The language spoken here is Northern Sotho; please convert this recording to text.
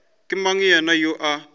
ke mang yena yoo a